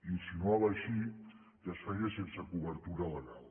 insinuava així que es feia sense cobertura legal